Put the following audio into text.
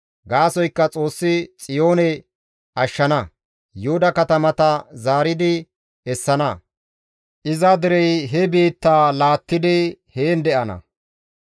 Gaasoykka Xoossi Xiyoone ashshana; Yuhuda katamata zaaridi essana. Iza derey he biitta laattidi heen de7ana.